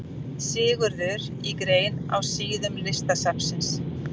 Sigurður í grein á síðum Listasafnsins.